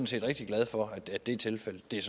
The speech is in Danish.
set rigtig glad for er tilfældet det er